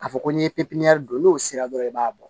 K'a fɔ ko n'i ye pipiniyɛri don n'o sera dɔrɔn i b'a bɔ